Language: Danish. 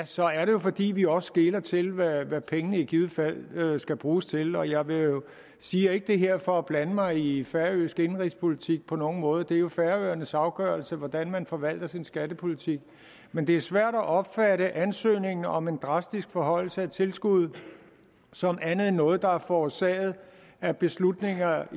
så er det jo fordi vi også skeler til hvad hvad pengene i givet fald skal bruges til og jeg siger ikke det her for at blande mig i i færøsk indenrigspolitik på nogen måde det er jo færøernes afgørelse hvordan man forvalter sin skattepolitik men det er svært at opfatte ansøgningen om en drastisk forhøjelse af tilskuddet som andet end noget der er forårsaget af beslutninger